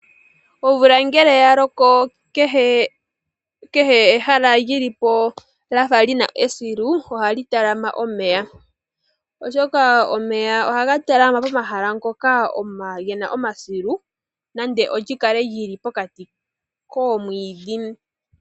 Omvula ngele ya loko kehe ehala lyi li po lya fa li na esilu ohali talama omeya, oshoka omeya ohaga talama pomahala ngoka ge na omasilu nande olyi kale lyi li pokati koomwiidhi.